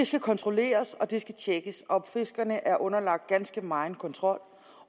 skal kontrolleres og noget der skal tjekkes og fiskerne er underlagt ganske megen kontrol